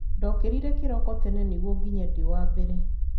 ndokirire kiroko tene nĩguo nginye ndĩ wambere